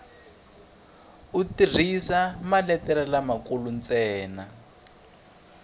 u tirhisa maletere lamakulu ntsena